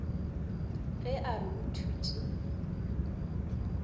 ge a re o thutše